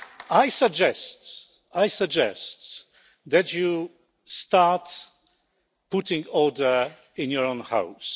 style. I suggest, Mr President, that you start putting order in your own